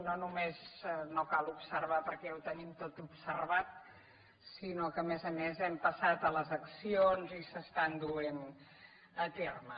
no només no cal observar perquè ja ho tenim tot observat sinó que a més a més hem passat a les accions i s’estan duent a terme